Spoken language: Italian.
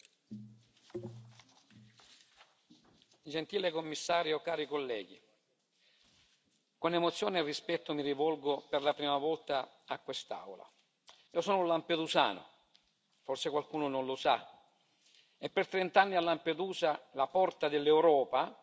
Signor Presidente, onorevoli colleghi, con emozione e rispetto mi rivolgo per la prima volta a quest'Aula. Io sono lampedusano forse qualcuno non lo sa e per trent'anni a Lampedusa, la porta dell'Europa,